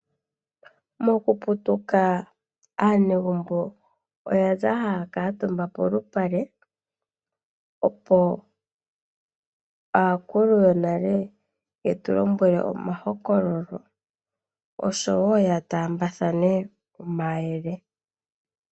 Moku putuka aanegumbo oyaza haya kuutumba poshinyanga opo aakulu yonale yetu lombwele omahokololo osho wo yataambathane omayele.